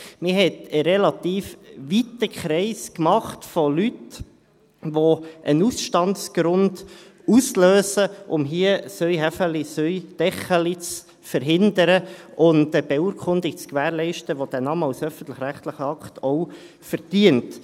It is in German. Man hat einen relativ weiten Kreis von Leuten gemacht, die einen Ausstandsgrund auslösen, um hier Vetternwirtschaft zu verhindern und eine Beurkundung zu gewährleisten, die den Namen als öffentlichrechtlichen Akt auch verdient.